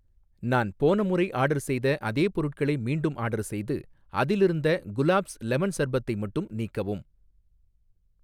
நான் போன முறை ஆர்டர் செய்த அதே பொருட்களை மீண்டும் ஆர்டர் செய்து, அதிலிருந்த குலாப்ஸ் லெமன் சர்பத்தை மட்டும் நீக்கவும்